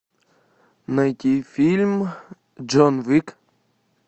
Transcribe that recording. найти фильм джон уик